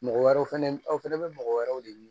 Mɔgɔ wɛrɛw fana aw fɛnɛ bɛ mɔgɔ wɛrɛw de ɲini